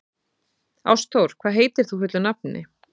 Ástþór, hvað heitir þú fullu nafni?